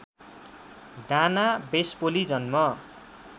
Dana Vespoli जन्म